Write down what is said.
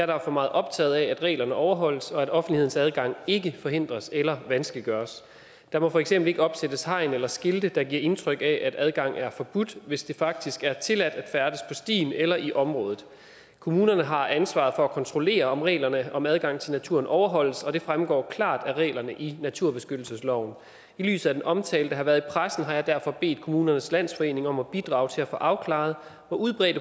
derfor meget optaget af at reglerne overholdes og at offentlighedens adgang ikke forhindres eller vanskeliggøres der må for eksempel ikke opsættes hegn eller skilte der giver indtryk af at adgang er forbudt hvis det faktisk er tilladt at færdes på stien eller i området kommunerne har ansvaret for at kontrollere om reglerne om adgang til naturen overholdes og det fremgår klart af reglerne i naturbeskyttelsesloven i lyset af den omtale der har været i pressen har jeg derfor bedt kommunernes landsforening om at bidrage til at få afklaret hvor udbredt